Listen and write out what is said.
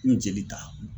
N jeli ta